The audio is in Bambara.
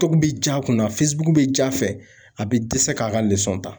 Tobi bi ja kunna bɛ ja fɛ a be dɛsɛ k'a ka ta.